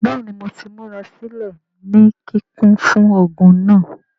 Bẹẹni Mo ti murasilẹ ni kikun fun ogun naa.